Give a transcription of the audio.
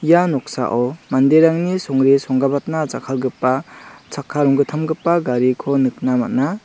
ia noksao manderangni songre songgabatna jakkalgipa chakka ronggittamgipa gariko nikna man·a.